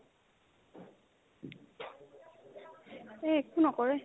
এহ্ একো নকৰে